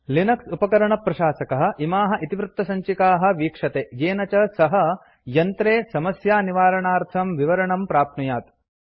Linux उपकरणप्रशासकः इमाः इतिवृत्तसञ्चिकाः वीक्षते येन च सः यन्त्रे समस्यानिवारणार्थं विवरणं प्राप्नुयात्